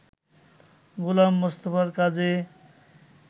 গোলাম মোস্তফার কাজে